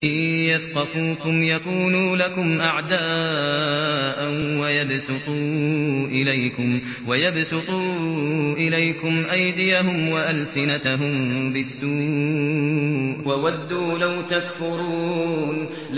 إِن يَثْقَفُوكُمْ يَكُونُوا لَكُمْ أَعْدَاءً وَيَبْسُطُوا إِلَيْكُمْ أَيْدِيَهُمْ وَأَلْسِنَتَهُم بِالسُّوءِ وَوَدُّوا لَوْ تَكْفُرُونَ